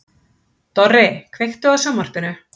Dorri, kveiktu á sjónvarpinu.